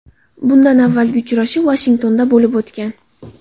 Bundan avvalgi uchrashuv Vashingtonda bo‘lib o‘tgan.